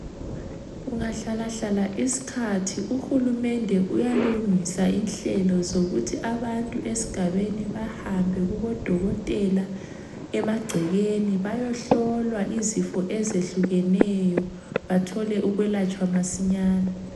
Kungahlalahla isikhathi uhulumende uyalungisa inhlelo zokuthi abantu esigabeni bahambe kubodokotela emagcekeni bayohlolwa izifo ezehlukeneyo, bathole ukwelatshwa masinyane.